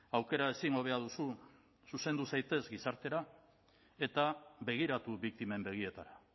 aukera ezin hobea duzu zuzendu zaitez gizartera eta begiratu biktimen begietara